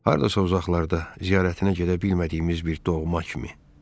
Hardasa uzaqlarda, ziyarətinə gedə bilmədiyimiz bir doğma kimi.